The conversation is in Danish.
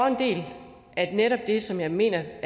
en del af netop det som jeg mener